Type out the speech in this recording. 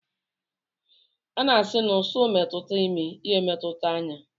A na-asi na ụsụ metụta imi, ya emetụta anya